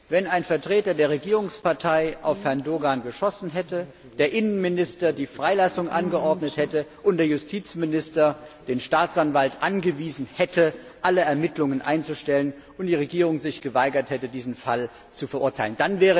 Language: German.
Wenn ein Vertreter der Regierungspartei auf Herrn Doğan geschossen hätte, der Innenminister die Freilassung angeordnet hätte und der Justizminister den Staatsanwalt angewiesen hätte, alle Ermittlungen einzustellen, und die Regierung sich geweigert hätte, diesen Fall zu verurteilen.